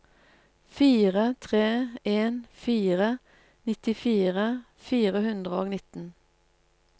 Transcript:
fire tre en fire nittifire fire hundre og nitten